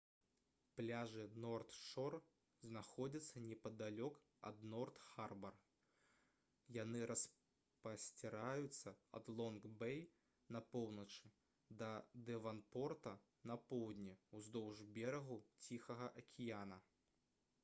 пляжы норт-шор знаходзяцца непадалёк ад норт-харбар яны распасціраюцца ад лонг-бей на поўначы да дэванпорта на поўдні ўздоўж берагу ціхага акіяна